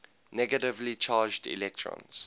negatively charged electrons